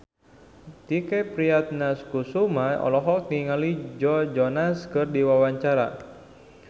Tike Priatnakusuma olohok ningali Joe Jonas keur diwawancara